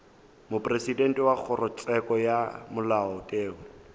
mopresidente wa kgorotsheko ya molaotheo